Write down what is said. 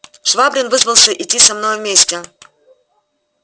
швабрин вызвался идти со мною вместе